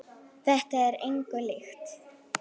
Þetta er engu líkt.